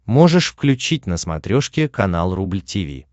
можешь включить на смотрешке канал рубль ти ви